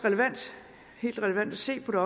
helt relevant at se på det